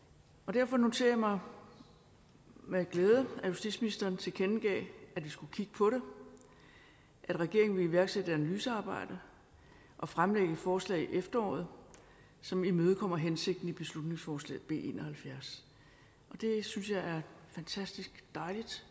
derfor noterer jeg mig med glæde at justitsministeren tilkendegav at vi skulle kigge på det at regeringen ville iværksætte et analysearbejde og fremsætte et forslag i efteråret som imødekommer hensigten i beslutningsforslag b en og halvfjerds det synes jeg er fantastisk dejligt